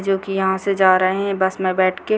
जोकि यहां से जा रहें बस में बैठके